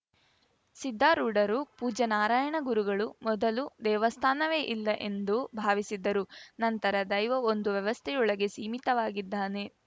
ಸಿದ್ದಾರೂಡರು ಪೂಜ್ಯ ನಾರಾಯಣ ಗುರುಗಳು ಮೊದಲು ದೇವಸ್ಥಾನವೇ ಎಲ್ಲ ಎಂದು ಭಾವಿಸಿದ್ದರು ನಂತರ ದೈವ ಒಂದು ವ್ಯವಸ್ಥೆಯೊಳಗೆ ಸೀಮಿತವಾಗಿದ್ದಾನೆ